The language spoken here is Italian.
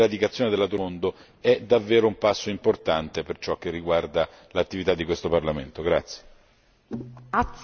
Questa relazione sull'eradicazione della tortura nel mondo è davvero un passo importante per ciò che riguarda l'attività di questo Parlamento.